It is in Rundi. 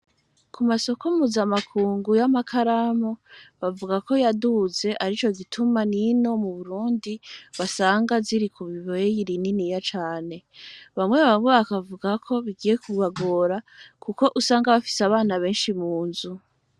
Ku masoko muzamakungu y'amakaramo bavuga ko yaduze ari co gituma n'ino mu burundi basanga ziri ku bibeeyiri nini ya cane bamwe babo bakavugako bigiye kubagora, kuko usanga bafise abana benshi mu nzu.